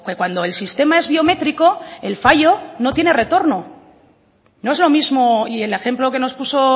cuando el sistema es biométrico el fallo no tiene retorno no es lo mismo y el ejemplo que nos puso